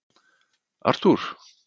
Arthúr